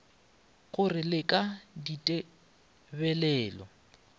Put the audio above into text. go re le ka ditebelelo